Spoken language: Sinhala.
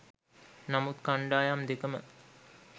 නමුත් කණ්ඩායම් දෙකම